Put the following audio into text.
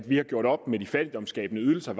vi har gjort op med de fattigdomsskabende ydelser